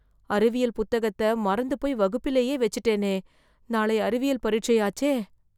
அறிவியல் புத்தகத்தை மறந்துபோய் வகுப்பிலேயே வெச்சுட்டேனே... நாளை அறிவியல் பரிட்சையாச்சே...